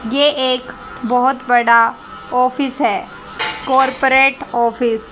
ये एक बहोत बड़ा ऑफिस है कॉरपोरेट ऑफिस ।